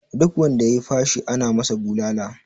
Duk wanda ya yi fashi ana masa bulala